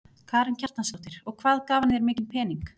Karen Kjartansdóttir: Og hvað gaf hann þér mikinn pening?